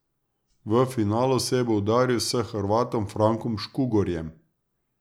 V finalu se bo udaril s Hrvatom Frankom Škugorjem.